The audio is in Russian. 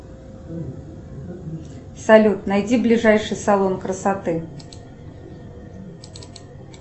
салют найди ближайший салон красоты